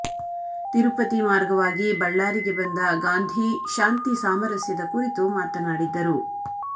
ತಿರುಪತಿ ಮಾರ್ಗವಾಗಿ ಬಳ್ಳಾರಿಗೆ ಬಂದ ಗಾಂಧೀ ಶಾಂತಿ ಸಾಮರಸ್ಯದ ಕುರಿತು ಮಾತನಾಡಿದ್ದರು